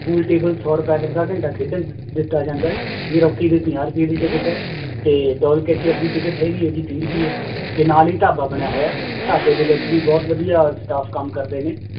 pool table ਸੌ ਰੁਪਏ ਚ ਅੱਧਾ ਘੰਟਾ ਖੇਡਣ ਦਿ ਦਿੱਤਾ ਜਾਂਦਾ ਹੈ air ਹਾਕੀ ਦੀ ਪੰਜਾਹ ਰੁਪਏ ਦੀ ਟਿੱਕਟ ਹੈ, ਤੇ ਦੀ ਟਿੱਕਟ ਹੈਗੀ ਹੈ ਜੀ ਤੀਹ ਰੁਪਏ ਤੇ ਨਾਲ ਹੀ ਢਾਬਾ ਬਣਿਆ ਹੋਇਆ, ਢਾਬੇ ਦੇ ਵਿੱਚ ਵੀ ਬਹੁਤ ਵਧੀਆ staff ਕੰਮ ਕਰਦੇ ਨੇ,